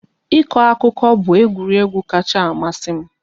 Ịkọ akụkọ bụ egwuregwu kacha amasị m